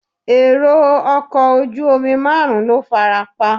Èrò ọkọ̀ ojú omi márùn-ún ló farapa.